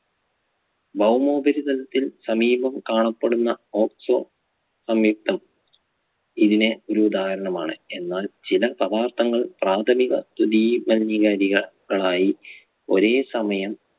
ഭൗമോപരിതലത്തിൽ സമീപം കാണപ്പെടുന്ന oxo സംയുക്തം ഇതിന് ഒരു ഉദാഹരണമാണ്. എന്നാൽ ചില പദാർത്ഥങ്ങൾ പ്രാഥമിക ദുദിയ മലിനീകാരികൾ~കളായി ഒരേ സമയം